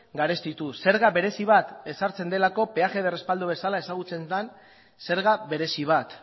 garestituz zerga berezi bat ezartzen delako peaje de respaldo bezala ezagutzen den zerga berezi bat